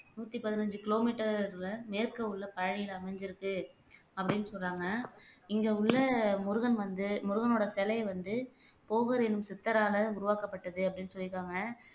நூத்தி பதினைஞ்சு கிலோமீட்டர்ல மேற்கே உள்ள பழனியில அமைஞ்சுருக்கு அப்படின்னு சொல்றாங்க. இங்க உள்ள முருகன் வந்து முருகனோட சிலையை வந்து போகர் எனும் சித்தரால உருவாக்கப்பட்டது அப்படின்னு சொல்லியிருக்காங்க.